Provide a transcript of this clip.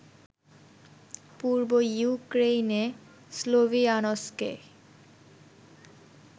পূর্ব ইউক্রেইনে স্লোভিয়ানস্কে